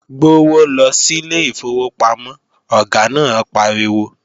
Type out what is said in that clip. Gbówó lọ sílé ìfowópamọ́, Ọ̀gá náà pariwo!